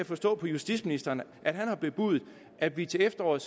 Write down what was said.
forstå på justitsministeren at han har bebudet at vi til efteråret